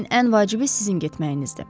Lakin ən vacibi sizin getməyinizdir.